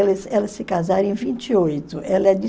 elas se casaram em vinte e oito, ela é de